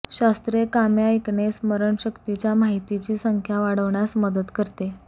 शास्त्रीय कामे ऐकणे स्मरणशक्तीच्या माहितीची संख्या वाढवण्यास मदत करते